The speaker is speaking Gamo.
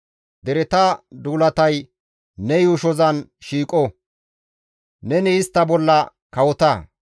Dereta duulatay ne yuushozan shiiqo; neni istta bolla kawota.